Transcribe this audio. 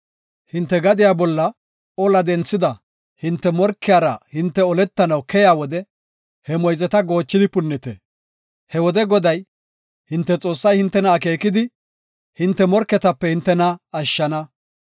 “Hinte gadiya bolla ola denthida hinte morkiyara hinte oletanaw keyiya wode he moyzeta goochidi punnite. He wode Goday, hinte Xoossay hintena akeekidi, hinte morketape ashshana.